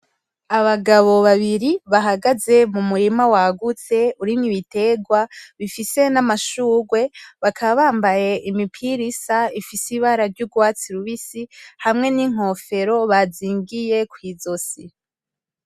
Abagabo babiri bahagaze mu murima wagutse urimo ibiterwa bifise n'amshugwe bakaba bambaye imipira isa ifise ibara ryugwatsi rubisi hamwe n'inkofero bazingiye kw'izosi.